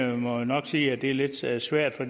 jeg må nok sige at det er lidt svært svært for